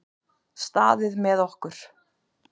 Staðið með okkur